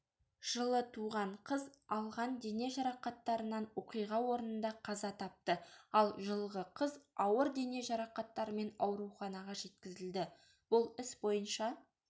жылы туған қыз алған дене жарақаттарынан оқиға орнында қаза тапты ал жылғы қыз ауыр дене жарақаттарымен ауруханаға жеткізілді бұл іс бойынша